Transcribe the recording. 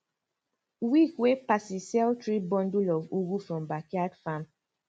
week wey passi sell three bundle of ugu from backyard farm